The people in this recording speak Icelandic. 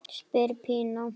spyr Pína.